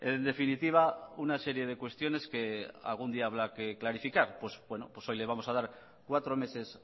en definitiva una serie de cuestiones que algún día habrá que clarificar pues bueno pues hoy le vamos a dar cuatro meses